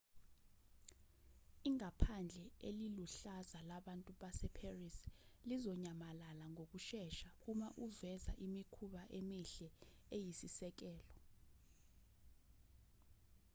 ingaphandle eliluhlaza labantu baseparis lizonyamalala ngokushesha uma uveza imikhuba emihle eyisisekelo